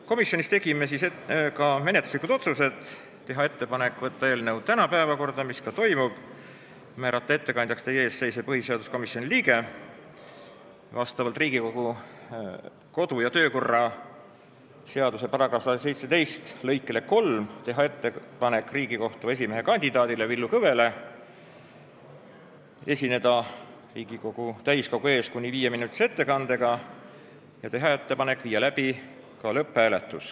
Komisjonis tegime järgmised menetluslikud otsused: teha ettepanek võtta eelnõu tänaseks päevakorda, määrata ettekandjaks teie ees seisev põhiseaduskomisjoni liige, Riigikogu kodu- ja töökorra seaduse § 117 lõike 3 alusel teha ettepanek Riigikohtu esimehe kandidaadile Villu Kõvele esineda Riigikogu täiskogu ees kuni viieminutilise ettekandega ja teha ettepanek viia läbi lõpphääletus.